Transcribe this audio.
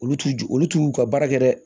Olu t'u ju olu t'u ka baara kɛ dɛ